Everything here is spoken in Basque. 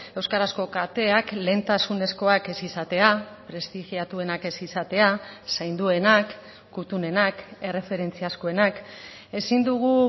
euskarazko kateak lehentasunezkoak ez izatea prestigiatuenak ez izatea zainduenak kuttunenak erreferentziazkoenak ezin dugu